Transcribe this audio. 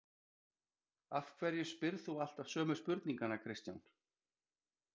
Af hverju spyrð þú alltaf sömu spurninganna Kristján?